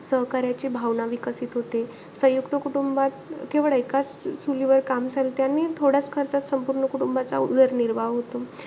सहकार्याची भावना विकसित होते. संयुक्त कुटुंबात, केवळ एकाचं चुलीवर काम चालते. आणि थोड्याचं खर्चात संपूर्ण कुटुंबाचा उदरनिर्वाह होतो.